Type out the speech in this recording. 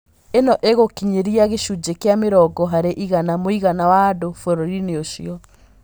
Īno ĩgũkinyĩria gĩcunjĩ kĩa mĩrongo harĩ igana mũigana wa andũ bũrũri-inĩ ũcio